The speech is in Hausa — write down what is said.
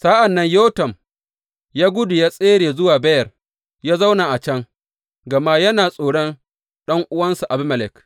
Sa’an nan Yotam ya gudu, ya tsere zuwa Beyer ya zauna a can gama yana tsoron ɗan’uwansa Abimelek.